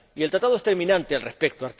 Y el Tratado es terminante al respecto.